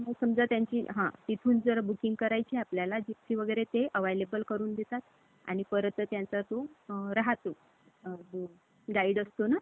अं जे रांगोळी काढता तुम्ही, त्याच्यामध्ये काय-काय रांगोळीमध्ये असतं? तर, झेंडा असतो, शंख, चक्र, गदा, पदमं, आंब्याचं चित्र असतं. छोटं शिवलिंग असतं.